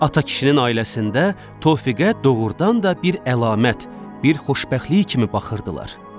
Ata kişinin ailəsində Tofiqə doğrudan da bir əlamət, bir xoşbəxtlik kimi baxırdılar.